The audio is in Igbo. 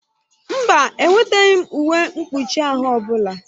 Mba, eweteghị m uwe mkpụchi ahụ ọbụla.